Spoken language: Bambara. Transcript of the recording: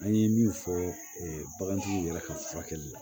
An ye min fɔ bagantigiw yɛrɛ ka furakɛli la